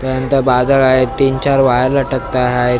त्यानंतर बाजार आहे तिन चार वायर लटकत हाएत .